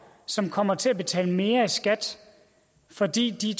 som kommer til at betale mere i skat fordi de